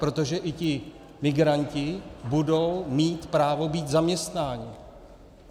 Protože i ti migranti budou mít právo být zaměstnáni!